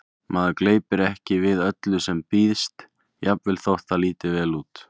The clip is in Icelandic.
Maður gleypir ekki við öllu sem býðst, jafnvel þótt það líti vel út